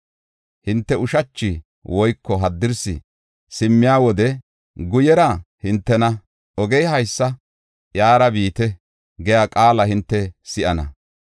Hinte ushachi woyko haddirsi simmiya wode, guyera hintena, “Ogey haysa; iyara biite” giya qaala hinte si7ana.